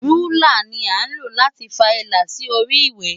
Rúlà ni à ń lò láti fa ilà sí orí ìwé.